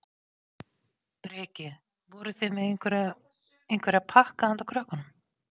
Breki: Voruð þið með einhverja, einhverja pakka handa krökkunum?